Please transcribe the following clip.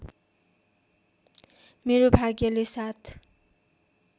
मेरो भाग्यले साथ